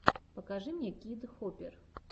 покажи мне кид хопер